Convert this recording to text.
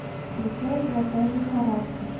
включай золотая лихорадка